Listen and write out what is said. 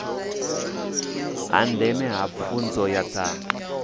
ha ndeme ha pfunzo dza